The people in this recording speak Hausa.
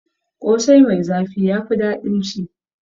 Ƙosai mai zafi ya fi daɗin ci.